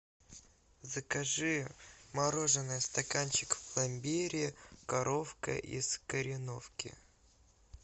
закажи мороженое стаканчик в пломбире коровка из кореновки